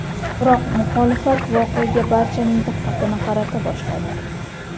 Biroq muxolifat voqeaga barchaning diqqatini qarata boshladi .